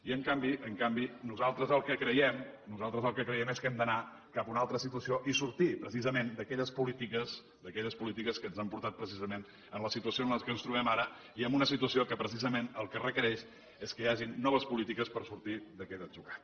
i en canvi nosaltres el que creiem és que hem d’anar cap a una altra situació i sortir precisament d’aquelles polítiques que ens han portat a la situació en què ens trobem ara i en una situació que precisament el que requereix és que hi hagin noves polítiques per sortir d’aquest atzucac